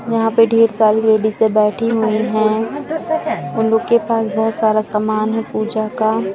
यहाँ पे ढेर सारी लेडीजे बैठी हुई है उन लोगों के पास बहुत सारा समान है पूजा का।